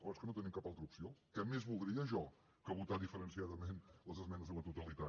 oh és que no tenim cap altra opció què més voldria jo que votar diferenciadament les esmenes a la totalitat